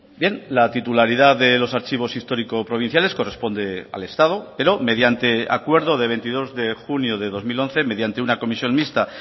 bien la titularidad de los archivos histórico provinciales corresponde al estado pero mediante acuerdo de veintidós de junio de dos mil once mediante una comisión mixta